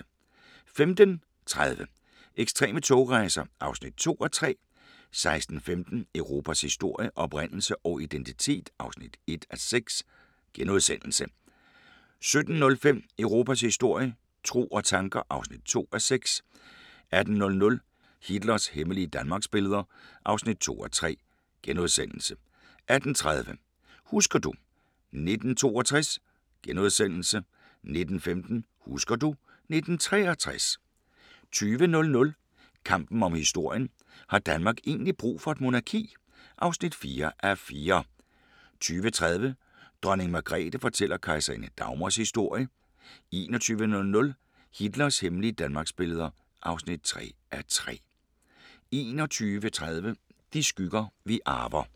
15:30: Ekstreme togrejser (2:3) 16:15: Europas historie – oprindelse og identitet (1:6)* 17:05: Europas historie – tro og tanker (2:6) 18:00: Hitlers hemmelige Danmarksbilleder (2:3)* 18:30: Husker du ... 1962 * 19:15: Husker du ... 1963 20:00: Kampen om historien – har Danmark egentlig brug for et monarki? (4:4) 20:30: Dronning Margrethe fortæller Kejserinde Dagmars historie 21:00: Hitlers hemmelige danmarksbilleder (3:3) 21:30: De skygger, vi arver